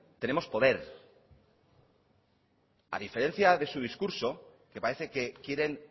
tenemos poder a diferencia de su discurso que parece que quieren